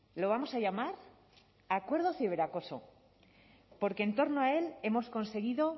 lo vamos a llamar acuerdo ciberacoso porque en torno a él hemos conseguido